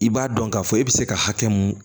I b'a dɔn k'a fɔ e bɛ se ka hakɛ mun